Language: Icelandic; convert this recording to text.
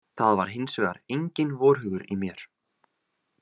Það var hins vegar enginn vorhugur í mér.